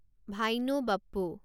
ভাইনো Bappu